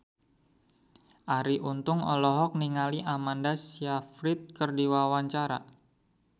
Arie Untung olohok ningali Amanda Sayfried keur diwawancara